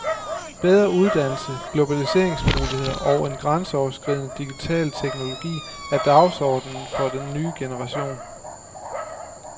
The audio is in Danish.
Bedre uddannelse, globaliseringsmuligheder og en grænseoverskridende digital teknologi er dagsordenen for den nye generation.